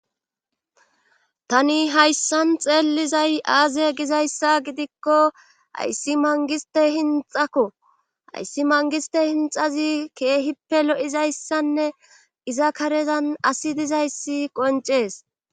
Tani hayssan xeellizay aaze gizayssa gidikko hayssi mangiste hinxakko hayssi mangiste hinxazi keehippe lo7izayssanne iza karezan asi dizayssi qoncees